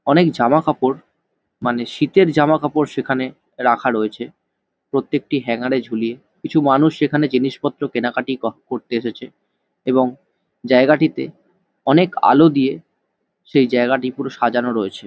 অনেক জামা কাপড় মানে শীতের জামা কাপড় সেখানে রাখা রয়েছে প্রত্যেকটি হ্যাংগার ঝুলিয়ে। কিছু মানুষ সেখানে জিনিসপত্র কেনা কাটি কর করতে এসেছে এবং জায়গাটিতে অনেক আলো দিয়ে সেই জায়গাটি পুরো সাজানো রয়েছে।